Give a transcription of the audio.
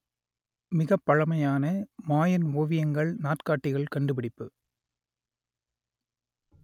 மிகப்பழமையான Mayan ஓவியங்கள் நாட்காட்டிகள் கண்டுபிடிப்பு